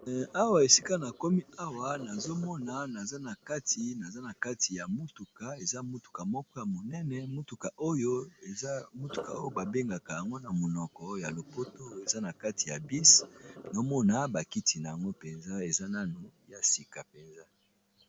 Awa esika na komi awa nazomona akti naza na kati ya motuka eza motuka moko ya monene motuka oyo babengaka yango na monoko ya lopoto eza na kati ya bis naomona bakiti na yango mpenza eza nanu ya sika mpenza.